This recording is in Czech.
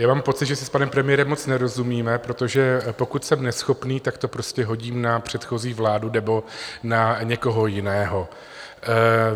Já mám pocit, že si s panem premiérem moc nerozumíme, protože pokud jsem neschopný, tak to prostě hodím na předchozí vládu nebo na někoho jiného.